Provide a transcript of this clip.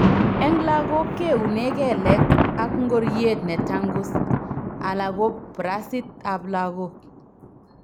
Eng' lagok keuune kelek ak ngoryet netangus ala ko burasit ab lagok